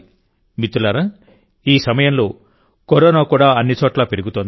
మిత్రులారాఈ సమయంలో కరోనా కూడా కొన్ని చోట్ల పెరుగుతోంది